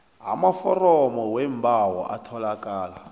amaforomo weembawo atholakala